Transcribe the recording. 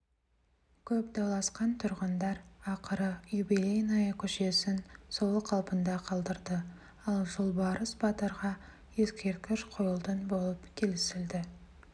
көп дауласқан тұрғындар ақыры юбелейная көшесін сол қалпында қалдырды ал жолбарыс батырға ескерткіш қойылтын болып келісілді